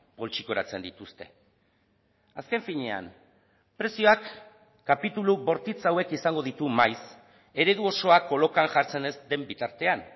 poltsikoratzen dituzte azken finean prezioak kapitulu bortitz hauek izango ditu maiz eredu osoa kolokan jartzen ez den bitartean